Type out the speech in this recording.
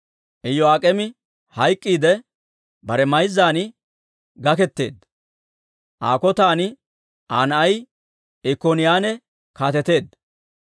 Iyo'aak'eemi hayk'k'iidde, bare mayzzan gaketeedda. Aa kotan Aa na'ay Ikkoniyaane kaateteedda.